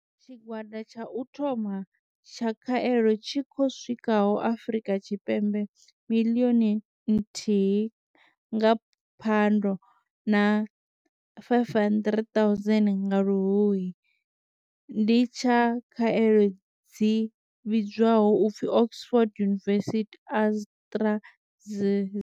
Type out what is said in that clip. Tshigwada tsha u thoma tsha khaelo tshi khou swikaho Afrika Tshipembe miḽioni nthihi nga Phando na 500 000 nga Luhuhi ndi tsha khaelo dzi vhidzwaho u pfi Oxford University-AstraZ.